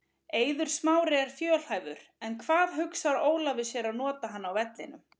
Eiður Smári er fjölhæfur en hvar hugsar Ólafur sér að nota hann á vellinum?